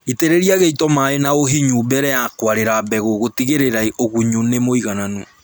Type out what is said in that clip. Itĩrĩria gĩito maĩĩ na ũhinyu mbere ya kũarĩra mbegũ gũtigĩrĩra ũgunyu nĩ mũiganu